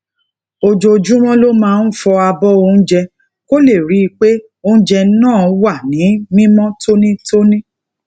ojoojúmó lo máa ń fọ abó oúnjẹ kó lè rí i pé oúnjẹ náà wà ní mímó tónítóní